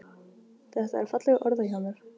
Þetta er fallega orðað hjá mér.